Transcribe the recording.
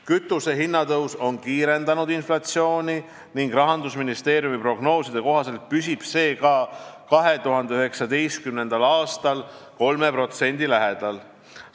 Kütusehinna tõus on kiirendanud inflatsiooni ning Rahandusministeeriumi prognooside kohaselt püsib see ka 2019. aastal 3% lähedal.